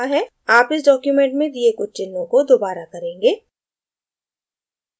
आप इस document में दिए कुछ चिन्हों को दोबारा करेंगे